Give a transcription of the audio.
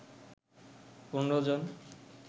১৫ জন